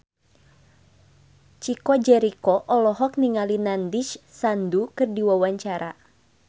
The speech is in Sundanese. Chico Jericho olohok ningali Nandish Sandhu keur diwawancara